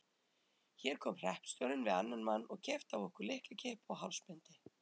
Hér kom hreppstjórinn við annan mann og keypti af okkur lyklakippu og hálsbindi.